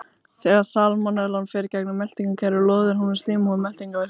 Þegar salmonellan fer í gegnum meltingarkerfið loðir hún við slímhúð meltingarvegarins.